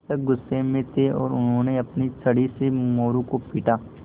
शिक्षक गुस्से में थे और उन्होंने अपनी छड़ी से मोरू को पीटा